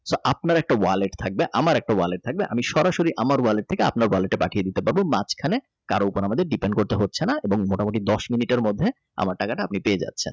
আপনার টয়লেট থাকবে আমার একটা ওয়ালেট থাকবে আমি সরাসরি আমার অর্ডার থেকে আপনার লেটে পাঠিয়ে দিতে পারব এখানে কারো উপরে আমাদের ডিপেন্ড করতে হচ্ছে না মোটামুটি দশ মিনিটের মধ্যে আমার টাকাটা আপনি পেয়ে যাচ্ছেন